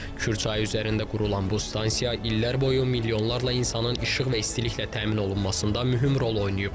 Kür çayı üzərində qurulan bu stansiya illər boyu milyonlarla insanın işıq və istiliklə təmin olunmasında mühüm rol oynayıb.